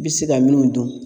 I bɛ se ka minnu dun